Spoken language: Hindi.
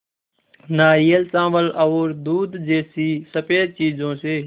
नारियल चावल और दूध जैसी स़फेद चीज़ों से